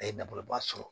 A ye nafoloba sɔrɔ